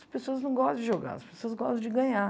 As pessoas não gostam de jogar, as pessoas gostam de ganhar.